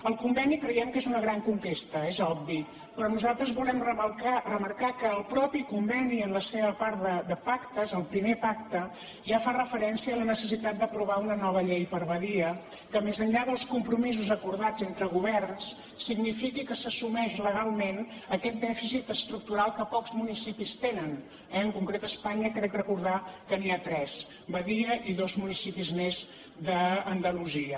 el conveni creiem que és una gran conquesta és obvi però nosaltres volem remarcar que el mateix conveni en la seva part de pacte és el primer pacte ja fa referència a la necessitat d’aprovar una nova llei per a badia que més enllà dels compromisos acordats entre governs signifiqui que s’assumeix legalment aquest dèficit estructural que pocs municipis tenen eh en concret a espanya crec recordar que n’hi ha tres badia i dos municipis més d’andalusia